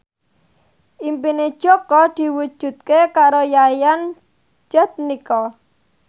impine Jaka diwujudke karo Yayan Jatnika